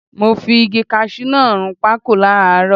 Mo fi igi kaṣú náà run pákò láràárọ.